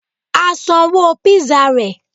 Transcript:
A sanwó pizza rẹ̀